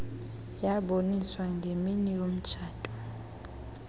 yaboniswa ngemini yomtshato